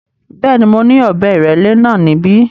Bẹ́ẹ̀ ni, mo ní ọ̀bẹ ìrẹ́lẹ́ náà níbí.